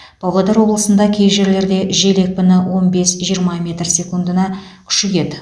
павлодар облысында кей жерлерде жел екпіні он бес жиырма метр секундына күшейеді